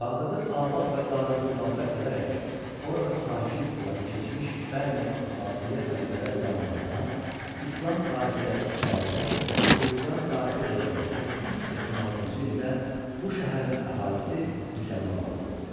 Bağdadı abad və Darülxilafə edərək orada sakin olan keçmiş Bəni Abbasiyyə xəlifələri zamanında İslam tarixi ilə 306, Xristian tarixi ilə isə 886-cı ildə bu şəhərin əhalisi müsəlman oldu.